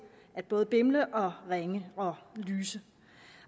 både at bimle og ringe og lyse